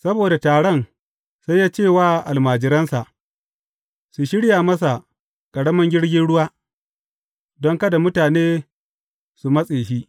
Saboda taron, sai ya ce wa almajiransa su shirya masa ƙaramin jirgin ruwa, don kada mutane su matse shi.